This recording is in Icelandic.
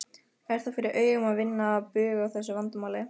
Er það fyrir augum að vinna bug á þessu vandamáli?